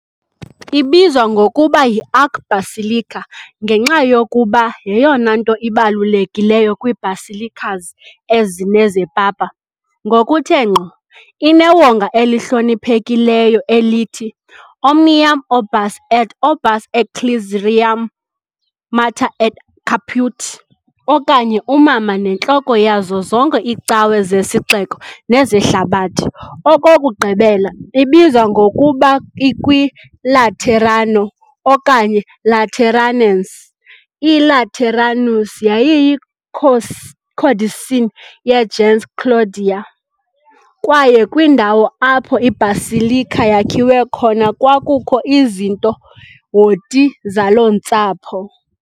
Ibizwa ngokuba yi "archbasilica" ngenxa yokuba yeyona nto ibalulekileyo kwii-basilicas ezine zepapa, ngokuthe ngqo, inewonga elihloniphekileyo elithi "Omnium Urbis et Orbis Ecclesiarum Mater et Caput", okanye uMama neNtloko yazo zonke iiCawe zeSixeko nezeHlabathi .Okokugqibela, ibizwa ngokuba i"kwiLaterano", okanye "lateranense", "I-Lateranus" yayiyi-"codicin" ye-"gens Claudia", kwaye kwindawo apho i-basilica yakhiwe khona kwakukho izinto, "horti", zaloo ntsapho.